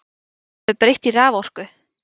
Þeirri sem er breytt í raforku?